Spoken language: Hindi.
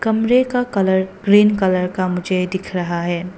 कमरे का कलर ग्रीन कलर का मुझे दिख रहा है।